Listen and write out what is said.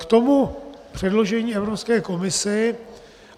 K tomu předložení Evropské komisi.